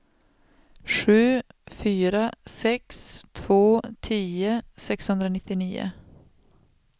sju fyra sex två tio sexhundranittionio